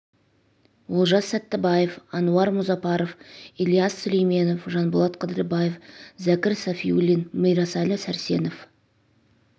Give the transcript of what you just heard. олжас сәттібаев әнуар мұзапаров ілияс сүлейменов жанболат қыдырбаев зәкір сафиуллин мирасәлі сәрсенов